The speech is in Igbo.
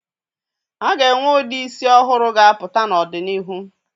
A ga-enwe ụdị isi ọhụrụ ga-apụta n'ọdịnihu